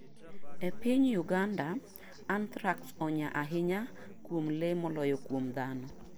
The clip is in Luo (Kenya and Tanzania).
E piny Uganda, anthrax onya ahinya kuom le moloyo kuom dhano.